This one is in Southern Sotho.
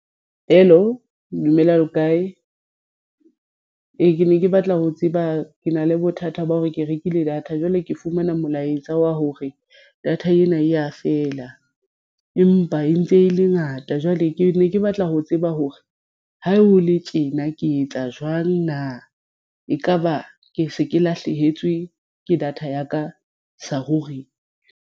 Hello dumelang le kae? Ee, ke ne ke batla ho tseba ke na le bothata ba hore ke rekile data jwale ke fumana molaetsa wa hore data ena e ya fela, empa e ntse e le ngata jwale ke ne ke batla ho tseba hore ha ho le tjena ke etsa jwang na ekaba ke se ke lahlehetswe ke data ya ka sa ruri?